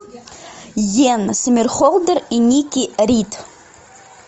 йен сомерхолдер и никки рид